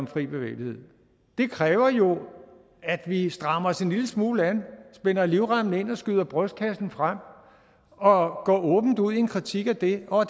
fri bevægelighed det kræver jo at vi strammer os en lille smule an spænder livremmen ind og skyder brystkassen frem og går åbent ud i en kritik af det og